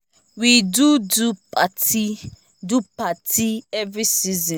we do do partyy do partyy every season for town to celebrate our fore fathers